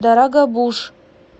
дорогобуж